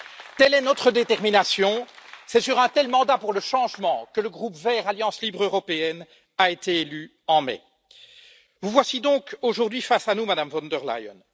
Telle est notre détermination et c'est sur un tel mandat pour le changement que le groupe des Verts Alliance libre européenne a été élu en mai. Vous voici donc aujourd'hui face à nous, Madame von der Leyen.